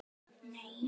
Það var dýrmæt stund.